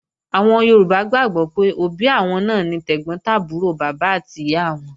Àwọn Yorùbá gbàgbọ́ pé òbí àwọn náà ni tẹ̀gbọ́n tàbúrò bàbá àti ìyá wọn